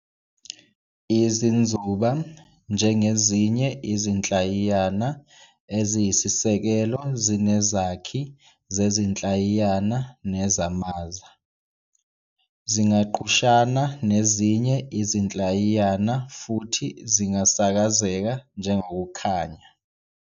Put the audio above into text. Izinzuba, njengezinye izinhlayiyana eziyisisekelo zinezakhi zezinhlayiyana nezaMaza, Zingagqushana nezinye izinhlayiyana futhi zingasakazeka njengokukhanya.